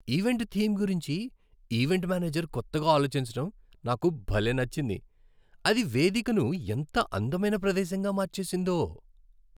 Event theme గురించి event manager కొత్తగా ఆలోచించటం నాకు భలే నచ్చింది, అది వేదికను ఎంత అందమైన ప్రదేశంగా మార్చేసిందో.